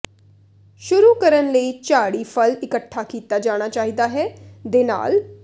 ਸ਼ੁਰੂ ਕਰਨ ਲਈ ਝਾੜੀ ਫਲ ਇਕੱਠਾ ਕੀਤਾ ਜਾਣਾ ਚਾਹੀਦਾ ਹੈ ਦੇ ਨਾਲ